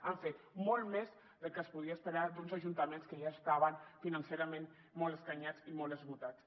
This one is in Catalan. han fet molt més del que es podia esperar d’uns ajuntaments que ja estaven financerament molt escanyats i molt esgotats